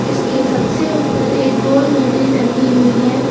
इसके सबसे ऊपर एक गोल घड़ी टंगी हुई है।